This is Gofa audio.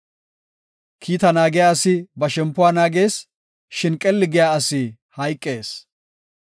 Kiita naagiya asi ba shempuwa naagees; shin qelli giya asi hayqees.